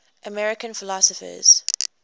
american philosophers